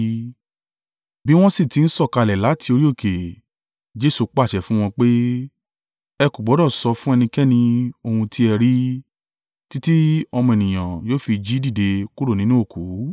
Bí wọ́n sì ti ń sọ̀kalẹ̀ láti orí òkè, Jesu pàṣẹ fún wọn pé, “Ẹ kò gbọdọ̀ sọ fún ẹnikẹ́ni ohun tí ẹ rí, títí Ọmọ Ènìyàn yóò fi jí dìde kúrò nínú òkú.”